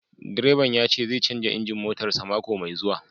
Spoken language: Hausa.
Direban ya ce zai canza injin motarsa ​​mako mai zuwa